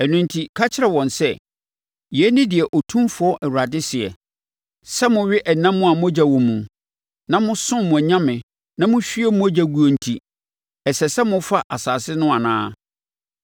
Ɛno enti, ka kyerɛ wɔn sɛ, ‘Yei ne deɛ Otumfoɔ Awurade seɛ: Sɛ mowe ɛnam a mogya wɔ mu, na mosom mo anyame na mohwie mogya guo enti, ɛsɛ sɛ mofa asase no anaa?